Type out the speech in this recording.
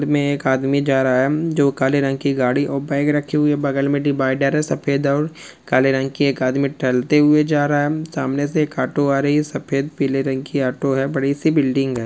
में एक आदमी जा रा है जो काले रंग की गाड़ी और बेग रखे हुए बगल में डीबाईडर है सफ़ेद और काले रंग की एक आदमी टहलते हुए जा रा है अम सामने से एक ऑटो आ रही हैं सफ़ेद पीले रंग की ऑटो है बड़ी सी बिल्डिंग है।